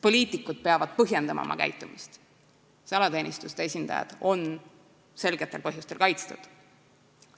Poliitikud peavad ju põhjendama oma käitumist, salateenistuste esindajad on selgetel põhjustel kaitstud.